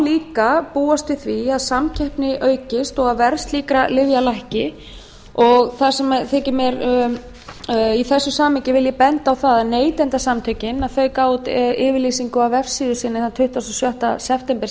líka búast við því að samkeppni aukist og að verð slíkra lyfja lækki í þessu samhengi vil ég benda á að neytendasamtökin gáfu út yfirlýsingu á vefsíðu sinni þann tuttugasta og sjötta september